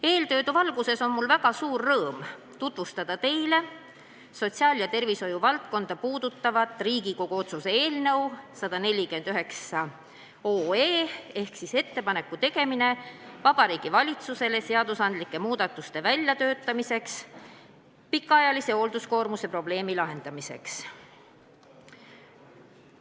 Eeltoodu valguses on mul väga suur rõõm tutvustada teile sotsiaal- ja tervishoiuvaldkonda puudutavat Riigikogu otsuse eelnõu 149 "Ettepaneku tegemine Vabariigi Valitsusele seadusandlike muudatuste väljatöötamiseks pikaajalise hoolduskoormuse probleemi lahendamiseks".